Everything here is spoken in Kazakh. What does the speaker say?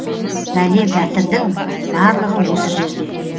бәле бәтірдің барлығы осы жерде